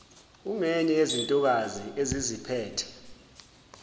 ungenye yezintokazi eziziphethe